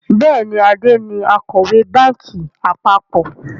Bẹ́ẹ̀ni, Ade ni Akọ̀wé báńkì àpapọ̀